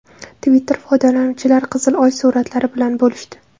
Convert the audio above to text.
Twitter foydalanuvchilari qizil Oy suratlari bilan bo‘lishdi.